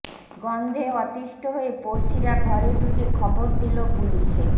গন্ধে অতিষ্ট হয়ে পড়শিরা ঘরে ঢুকে খবর দিল পুলিশে